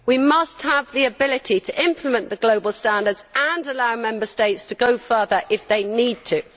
We must have the ability to implement the global standards and allow Member States to go further if they need to.